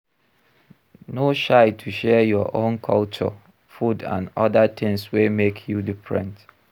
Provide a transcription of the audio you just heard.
No shy to share your own culture, food and oda things wey make you different